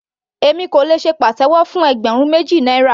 Èmi kò lè ṣe pàtẹ́wọ́ fún ẹgbẹ̀rún méjì náírà.